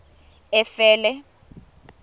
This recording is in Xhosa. efele